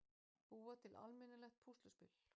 Búa til almennilegt púsluspil.